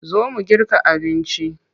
Zo mu girka abinci.